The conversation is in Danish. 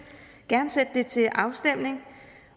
gerne sende det til afstemning